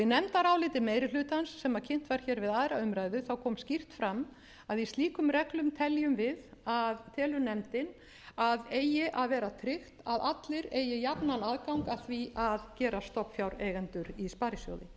í nefndaráliti meiri hlutans sem kynnt var hér við aðra umræðu kom skýrt fram að í slíkum reglum telur nefndin að eigi að vera tryggt að allir eigi jafnan aðgang að því að gerast stofnfjáreigendur í sparisjóði